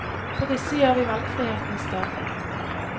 For disse gjør vi valgfriheten større.